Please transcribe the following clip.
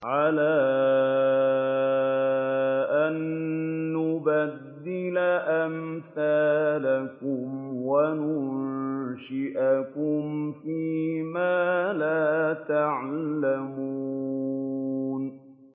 عَلَىٰ أَن نُّبَدِّلَ أَمْثَالَكُمْ وَنُنشِئَكُمْ فِي مَا لَا تَعْلَمُونَ